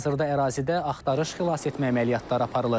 Hazırda ərazidə axtarış xilasetmə əməliyyatları aparılır.